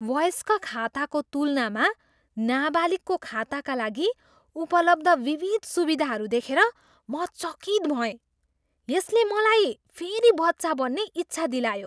वयस्क खाताको तुलनामा नाबालिगको खाताका लागि उपलब्ध विविध सुविधाहरू देखेर म चकित भएँ। यसले मलाई फेरि बच्चा बन्ने इच्छा दिलायो।